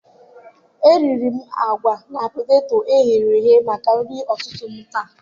ariri m agwa na poteto e ghere eghe maka nri ụtụtụ taa.